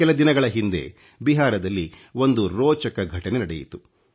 ಕೆಲ ದಿನಗಳ ಹಿಂದೆ ಬಿಹಾರದಲ್ಲಿ ಒಂದು ರೋಚಕ ಘಟನೆ ನಡೆಯಿತು